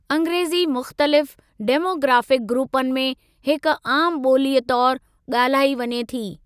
अंग्रेज़ी मुख़्तलिफ़ डेमोग्राफिक ग्रूपनि में हिक आमु ॿोलीअ तौरु ॻाल्हाई वञे थी।